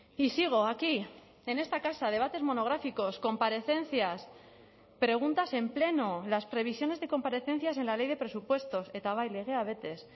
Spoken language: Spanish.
y sigo aquí en esta casa debates monográficos comparecencias preguntas en pleno las previsiones de comparecencias en la ley de presupuestos eta bai legea betez